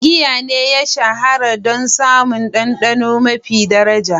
Wane giya ne ya shahara don samun ɗanɗano maifin ɗaraja?